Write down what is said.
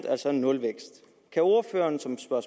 altså nulvækst kan ordføreren som svar